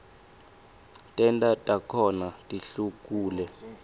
tento takhona tihlukule